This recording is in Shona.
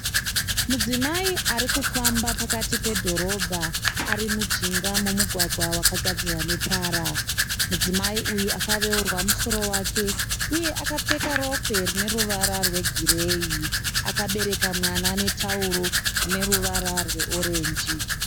Mudzimai ari kufamba pakati pedhorobha ari mujinga memugwagwa wakagadzirwa netara. Mudzimai uyu akaveurwa musoro wake uye akapfeka rokwe rine ruvara rwegireyi. Akabereka mwana netauro rine ruvara reorenji.